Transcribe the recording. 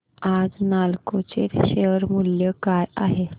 आज नालको चे शेअर मूल्य काय आहे